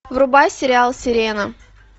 врубай сериал сирена